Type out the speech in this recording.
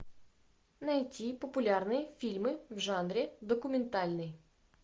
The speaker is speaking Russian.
найти популярные фильмы в жанре документальный